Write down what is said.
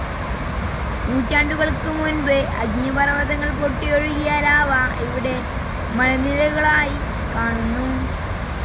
നൂറ്റാണ്ടുകൾക്ക് മുൻപ് അഗ്നിപർവതങ്ങൾ പൊട്ടിയൊഴുകിയ ലാവ ഇവിടെ മലനിരകളായി കാണുന്നു.